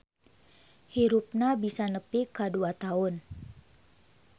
Hirupna bisa nepi ka dua taun.